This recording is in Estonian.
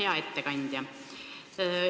Hea ettekandja!